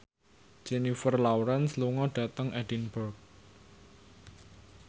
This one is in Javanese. Jennifer Lawrence lunga dhateng Edinburgh